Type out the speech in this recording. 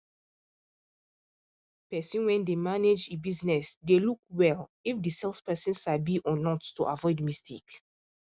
person wen dey manage e business dey look well if the sales person sabi or not to avoid mistake